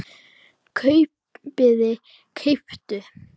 kaupið- keyptuð